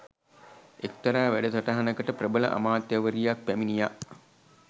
එක්තරා වැඩසටහනකට ප්‍රබල අමාත්‍යවරියක් පැමිණියා